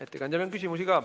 Ettekandjale on ka küsimusi.